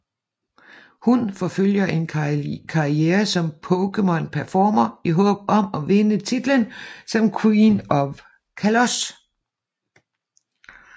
Hun forfølger en karriere som Pokémon Performer i håb om at vinde titlen som Queen of Kalos